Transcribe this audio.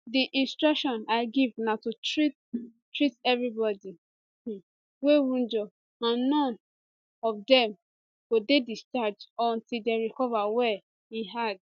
di instruction i give na to treat treat evri body um wey wunjure and none um of dem go dey discharged until dem recover well im add